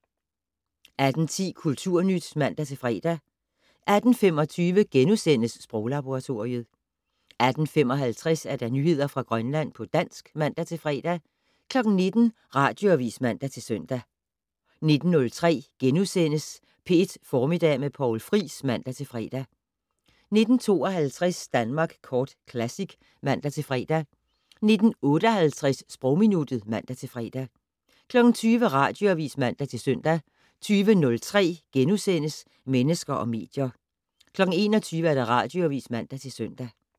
18:10: Kulturnyt (man-fre) 18:25: Sproglaboratoriet * 18:55: Nyheder fra Grønland på dansk (man-fre) 19:00: Radioavis (man-søn) 19:03: P1 Formiddag med Poul Friis *(man-fre) 19:52: Danmark Kort Classic (man-fre) 19:58: Sprogminuttet (man-fre) 20:00: Radioavis (man-søn) 20:03: Mennesker og medier * 21:00: Radioavis (man-søn)